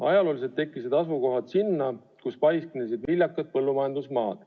Ajalooliselt tekkisid asulad sinna, kus paiknesid viljakad põllumajandusmaad.